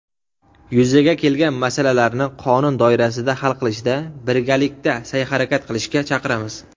yuzaga kelgan masalalarni qonun doirasida hal qilishda birgalikda saʼy-harakat qilishga chaqiramiz.